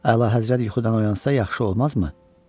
Əlahəzrət yuxudan oyansa yaxşı olmazmı?